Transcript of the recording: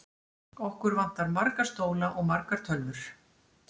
Okkur vantar marga stóla og margar tölvur.